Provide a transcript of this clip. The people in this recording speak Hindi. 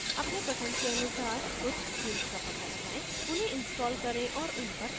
अपने पसंद के अनुसार कुछ themes का पता लगाएँ उन्हें install करें और उन पर काम करें